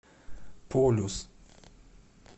полюс